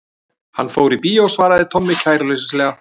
Hann fór í bíó svaraði Tommi kæruleysislega.